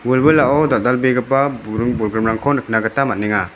wilwilao dal·dalbegipa buring-bolgrimrangko nikna gita man·enga.